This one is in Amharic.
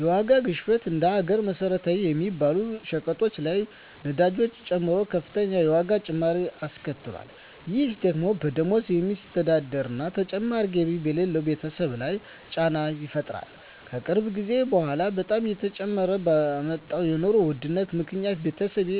የዋጋ ግሽበት እንደ ሀገር መሰረታዊ በሚባሉ ሸቀጦች ላይ ነዳጅን ጨምሮ ከፍተኛ የዋጋ ጭማሪ አስከትሏል። ይህ ደግሞ በደሞዝ በሚስተዳደር እና ተጨማሪ ገቢ በሌለው ቤተሰብ ላይ ጫና ይፈጥራል። ከቅርብ ጊዜ በኃላ በጣም እየጨመረ በመጣው የኑሮ ውድነት ምክኒያት ቤተሰቤ